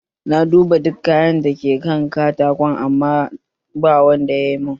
Na duba duka takalman da ke kan katakon amma ba wanda ya mun